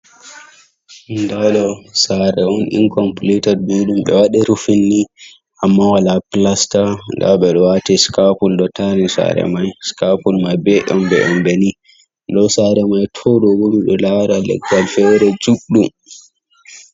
Dado sare on incompletat building be wade rufinni amma wala plastar ,dabe do wati scapul dottani sare mai scapul mai beyonbe yonbeni do sare mai todobo mido lara leggal fere juddum.